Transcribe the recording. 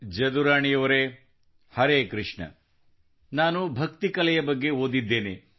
ಜದುರಾಣಿ ಅವರೆ ಹರೆ ಕೃಷ್ಣ ನಾನು ಭಕ್ತಿ ಕಲೆಯ ಬಗ್ಗೆ ಓದಿದ್ದೇನೆ